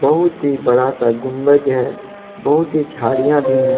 बहुत ही बड़ा सा गुंबज है बहुत ही झाड़ियां भी है।